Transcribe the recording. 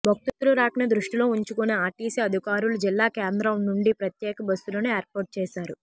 భక్తులు రాకను దృష్టిలో ఉంచుకుని ఆర్టిసి అధికారులు జిల్లా కేంద్రం నుండి ప్రత్యేక బస్సులను ఏర్పాటు చేశారు